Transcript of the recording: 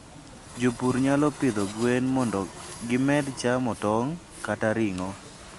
Jopur nyalo pidho gwen mondo gimed chamo tong' kata ring'o.